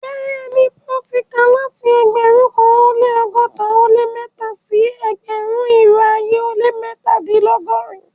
Bẹẹni, mo ti ká láti ẹgbérùn kan o lẹ́ ọgọ́ta o lẹ́ mẹ́tà sí ẹgbérùn-irò ayé o lẹ́ mẹ́tàdìnlọ́gọ́rìn-un.